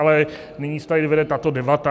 Ale nyní se tady vede tato debata.